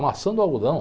Amassando o algodão.